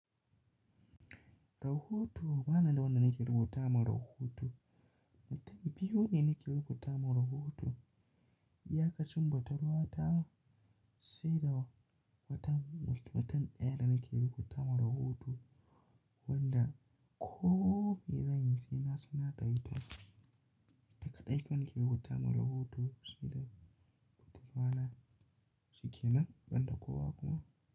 Rahoto bani da wanda nake rubuta ma rahoto. Mutum biyu ne nake rubuta ma rahoto. Iyakacin budurwa ta sai da mutum, mutum ɗaya da nake rubuta ma rahoto wanda ko mai zan yi sai na sanar da ita. Ita kaɗai kawai nake rubuta ma rahoto sai dai budurwa na, shikenan, ban da kowa kuma.